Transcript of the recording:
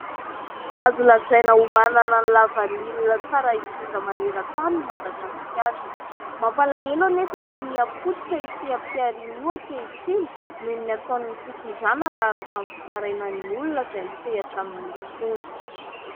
Azo lazaina ho manana lavanila tsara indrindra manera tany i Madagasikara . Mampalahelo anefa fa mihapotika io seham-piariany io ankehitriny noho ny ataon'ny fitondrana raha arakin'ny fitarainan'ny olona izay misehatra aminy izy itony